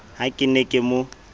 ha ke ne ke mo